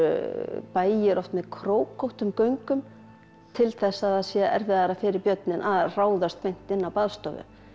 bæir oft með göngum til þess að það sé erfiðara fyrir björninn að ráðast beint inn á baðstofu